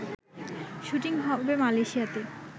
shooting হবে মালয়েশিয়াতে